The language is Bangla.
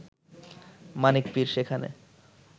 মানিক পীর সেখানে